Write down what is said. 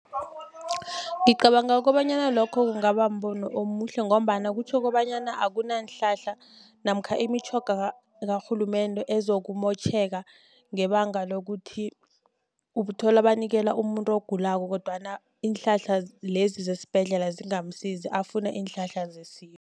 Ngicabanga kobanyana lokho kungaba mbono omuhle ngombana kutjho kobanyana akunanhlahla namkha imitjhoga karhulumende ezokumotjheka ngebanga lokuthi ubuthola banikela umuntu ogulako kodwana iinhlahla lezi zesibhedlela zingamsizi afune iinhlahla zesintu.